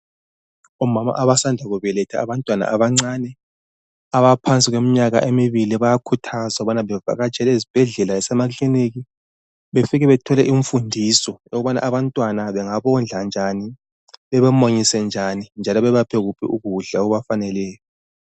Omama abasanda kubeletha abantwana abancane abaphansi kweminyaka emibili bayakhuthazwa ukubana bevakatshele ezibhedlela lasemakilinika befike bethole imfundiso yokubana abantwana bengabondla njani bebamunyise njani njalo bebaphe kuphi ukudla okubafaneleyo.